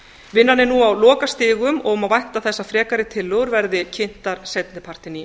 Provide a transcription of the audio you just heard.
vinnan er nú á lokastigum og má vænta þess að frekari tillögur verði kynntar seinni partinn í